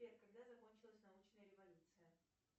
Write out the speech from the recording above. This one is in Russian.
сбер когда закончилась научная революция